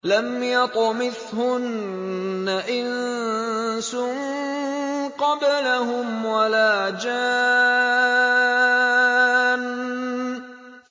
لَمْ يَطْمِثْهُنَّ إِنسٌ قَبْلَهُمْ وَلَا جَانٌّ